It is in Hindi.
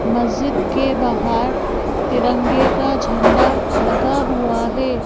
मस्जिद के बाहर तिरंगे का झंडा लगा हुआ है।